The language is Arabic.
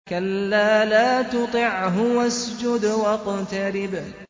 كَلَّا لَا تُطِعْهُ وَاسْجُدْ وَاقْتَرِب ۩